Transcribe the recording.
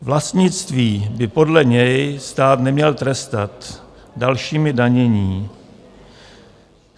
Vlastnictví by podle něj stát neměl trestat dalšími daněmi.